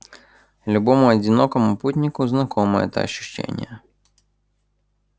любому одинокому путнику знакомо это ощущение